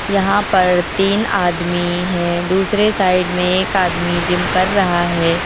यहां पर तीन आदमी है दूसरे साइड में एक आदमी जिम कर रहा है।